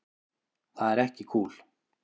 Það er ekki kúl.